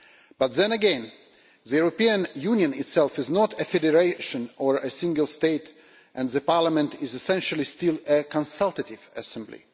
But then again, the European Union itself is not a federation or a single state, and Parliament is essentially still a consultative assembly.